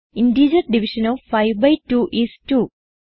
integer division of 5 by 2 is 2